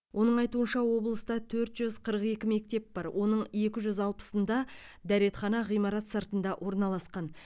оның айтуынша облыста төрт жүз қырық екі мектеп бар оның екі жүз алпысында дәретхана ғимарат сыртында орналасқан